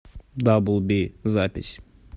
даблби запись